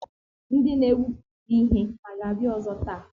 Ndị na-egwupụta ihe hà ga-abịa ọzọ taa?